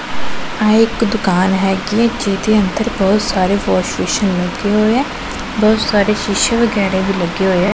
ਆਹ ਇੱਕ ਦੁਕਾਨ ਹੈਗੀ ਐ ਜਿਹਦੇ ਅੰਦਰ ਬਹੁਤ ਸਾਰੇ ਵਾਸ਼ ਵੇਸਨ ਲੱਗੇ ਹੋਏ ਐ ਬਹੁਤ ਸਾਰੇ ਸ਼ੀਸ਼ੇ ਵਗੈਰਾ ਵੀ ਲੱਗੇ ਹੋਏ ਐ।